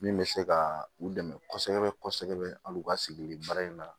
Min bɛ se ka u dɛmɛ kosɛbɛ kosɛbɛ hali u ka sigili baara in na